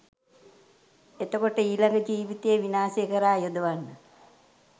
එතකොට ඊළඟ ජීවිතයේ විනාශය කරා යොදවන්න